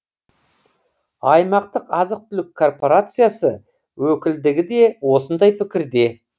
аймақтық азық түлік корпорациясы өкілдігі де осындай пікірде